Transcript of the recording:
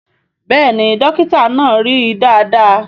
Bẹ́ẹ̀ni Dókítà náà rí dáadáa